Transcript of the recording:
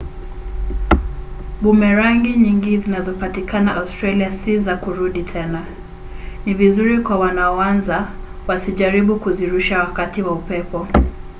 bumerangi nyingi zinazopatikana australia si za kurudi tena. ni vizuri kwa wanaoanza wasijaribu kuzirusha wakati wa upepo